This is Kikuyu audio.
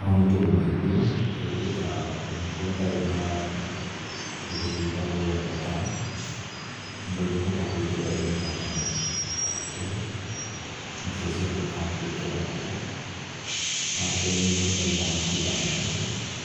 Moritũ nĩmaingĩ ĩndĩ ta ũngĩkorwo ũtarĩ na ta kĩndũ gĩtagwo data dũngĩhota kũingĩra intaneti tondũ nĩcio cihũthĩka kũingĩra kuo. Wakerĩ nĩ ũthagĩra mahinda maingĩ